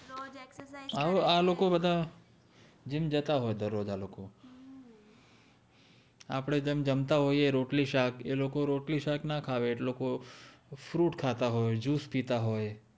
આ લોકો બદ્ધા જિમ જતા હોએ દર રોજ આ લોકો આપ્દે જેમ જમ્તા હોએ રોટ્લી શાક એ લોકો રોટ્લી સાક ના ખાવે એ લોકો fruit ખાતા હોએ juice પિતા હોએ